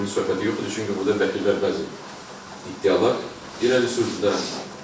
300 min söhbəti yox idi, çünki burda vəkillər bəzi iddialar irəli sürdülər.